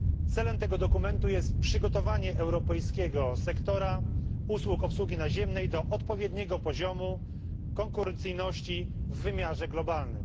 Celem tego dokumentu jest przygotowanie europejskiego sektora usług obsługi naziemnej do odpowiedniego poziomu konkurencyjności w wymiarze globalnym.